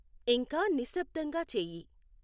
ఇంకా నిశ్శబ్దంగా చేయి